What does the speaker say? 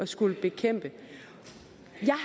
skal bekæmpe det